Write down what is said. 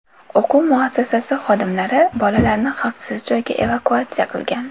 O‘quv muassasasi xodimlari bolalarni xavfsiz joyga evakuatsiya qilgan.